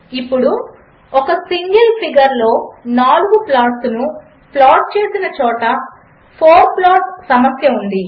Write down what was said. ఇప్పుడు ఒక సింగిల్ ఫిగర్లో నాలుగు ప్లాట్స్ ను ప్లాట్ చేసిన చోట ఫోర్ ప్లాట్ సమస్య ఉంది